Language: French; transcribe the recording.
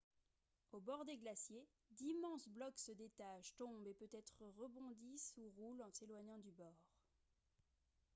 au bord des glaciers d'immenses blocs se détachent tombent et peut-être rebondissent ou roulent en s'éloignant du bord